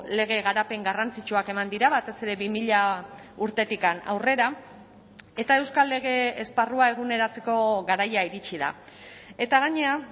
lege garapen garrantzitsuak eman dira batez ere bi mila urtetik aurrera eta euskal lege esparrua eguneratzeko garaia iritsi da eta gainera